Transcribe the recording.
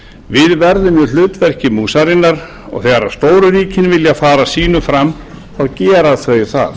við verðum í hlutverki músarinnar og þegar stóru ríkin vilja fara sínu fram þá gera þau það